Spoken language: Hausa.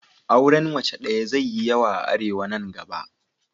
Auren mace daya zai yi yawa a Arewa nan gaba.